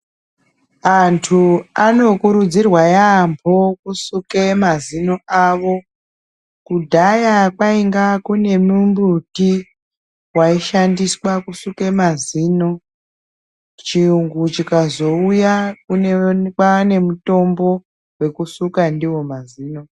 Antu anokurudzirwa yaambo kusuke mazino avo. Kudhaya kwainga kune mumbuti waishandiswa kusuke mazino. Chiyungu chikazouya, kwaanemutombo wekusuka ndiwo mazino.